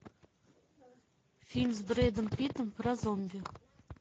фильм с брэдом питтом про зомби